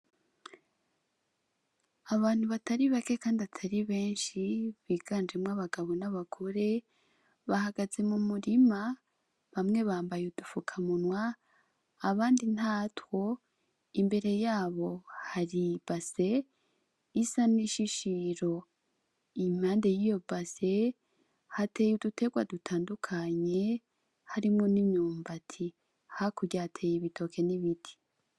Abantu atari bake kandi atari benshi biganjemwo abagabo n'abagore, bahagaze mu murima bamwe bambaye udufukamunwa abandi ntatwo, imbere yaho hari ibase isa n'ishishiro, impande yiyo base hateye uduterwa dutandukanye harimwo n'imyumbati, hakurya hateye ibitoke n'ibiti.